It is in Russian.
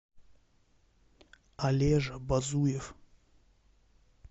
олежа базуев